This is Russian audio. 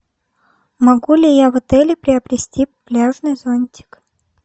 могу ли я в отеле приобрести пляжный зонтик